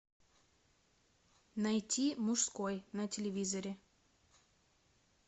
найти мужской на телевизоре